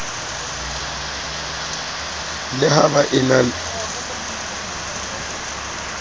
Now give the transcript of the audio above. le ha ba e na